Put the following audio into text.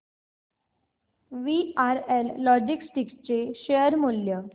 VRL logistics चे share मूल्य